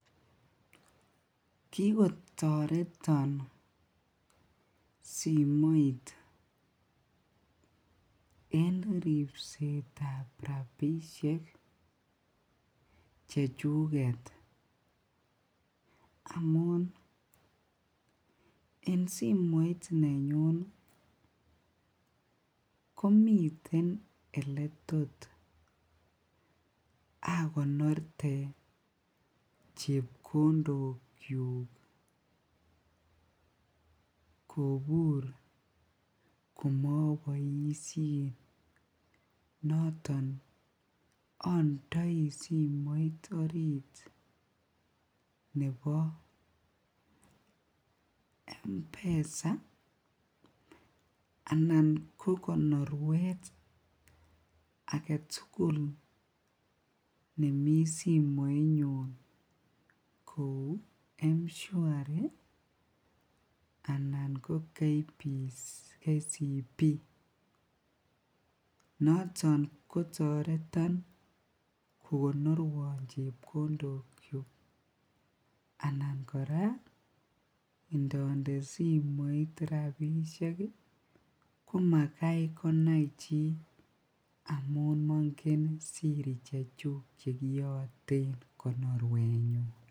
Kikotoreton simoit en ribsetab rabishek chechuket amun en simoit nenyun komiten oletot akonorte chepkondokyuk kobur komoboishen noton ondoi simoit orit nebo mpesa anan ko konorwet aketukul nemii simoinyun kouu mshwari anan ko KCB, noton kotoreton kokonorwon chepkondokyuk anan kora indonde simoinyun rabishek komakai konai chii amun mongen siri chechuk chekiyotenkonorwenyun.